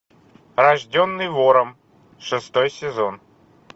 рожденный вором шестой сезон